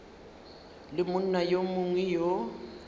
le monna yo mongwe yo